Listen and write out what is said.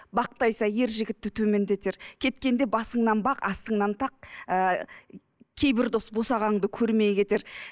бақтай сай ер жігітті төмендетер кеткенде басыңнан бақ астыңнан тақ ыыы кейбір дос босағаңды көрмей кетер